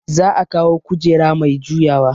Za a kawo kujera mai juyawa